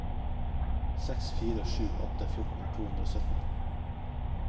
seks fire sju åtte fjorten to hundre og sytten